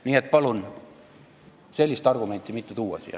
Nii et palun siia sellist argumenti mitte tuua!